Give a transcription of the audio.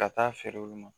Ka taa feere olu ma